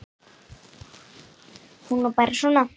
Hún var bara svona